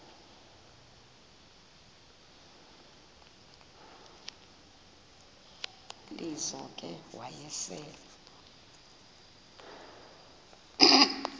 lizo ke wayesel